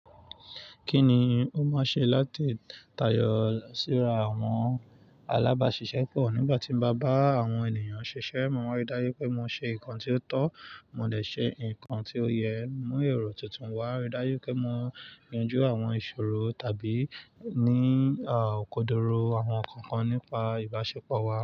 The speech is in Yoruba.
Kí ni ó máa ṣe láti tayọ síra àwọn alábàáṣiṣẹ́ pọ̀? Nígbà tí mo bá bá àwọn ènìyàn ṣiṣẹ́, mo má rí dájú pé mo ṣe nǹkan tí ó tọ́, mo lè ṣe nǹkan tí ó yẹ, mú èrò tuntun wá, rí dájú pé mo yanjú àwọn ìṣòro tàbí ní kòdoro àwọn nǹkan kan nípa ìbáṣepọ̀ wa.